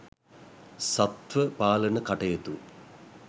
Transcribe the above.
සත්ත්ව පාලන කටයුතු